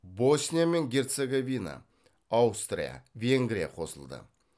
босния мен герцоговина аустрия венгрия қосылды